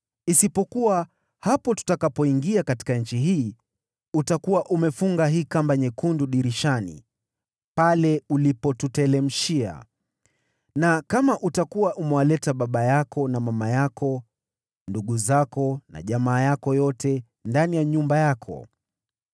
isipokuwa, hapo tutakapoingia katika nchi hii, utakuwa umefunga hii kamba nyekundu dirishani pale ulipotuteremshia na kama utakuwa umewaleta baba yako na mama yako, ndugu zako na jamaa yako yote ndani ya nyumba yako.